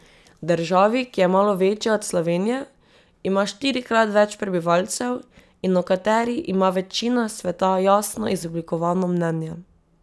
Državi, ki je malo večja od Slovenije, ima štirikrat več prebivalcev in o kateri ima večina sveta jasno izoblikovano mnenje.